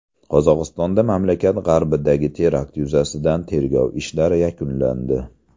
Qozog‘istonda mamlakat g‘arbidagi terakt yuzasidan tergov ishlari yakunlandi.